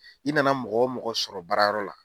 I nana mɔgɔ o mɔgɔ sɔrɔ baara yɔrɔ la.